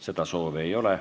Kõnesoove ei ole.